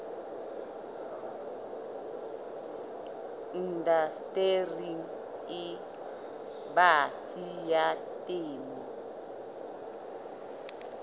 indastering e batsi ya temo